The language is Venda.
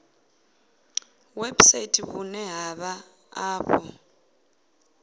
website vhune ha vha afho